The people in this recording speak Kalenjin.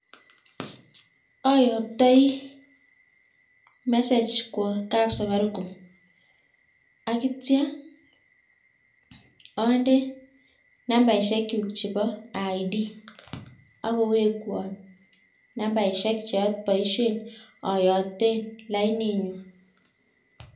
Oyoktoi message kwo kapsafaricom ak kitio onde nambaisiekyuk chebo id ak kowekwon nambaisiek choboisien oyoten laininyun.